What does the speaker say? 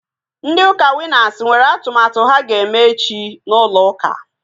Ndị ụka Winas nwere atụmatụ ha ga-eme echi n'ụlọ ụka